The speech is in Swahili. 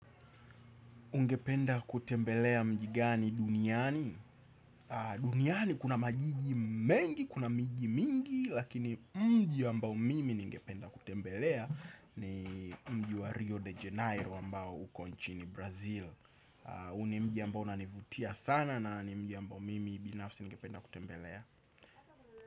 Ungependa kutembelea mji gani duniani? Duniani kuna majiji mengi, kuna mji mingi, lakini mji ambao mimi ningependa kutembelea ni mji wa Rio de Janeiro ambao uko nchini Brazil. Huu ni mji ambao unanivutia sana na ni mji ambao mimi binafsi ningependa kutembelea.